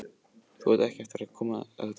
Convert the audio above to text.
Þú átt eftir að komast að því síðar.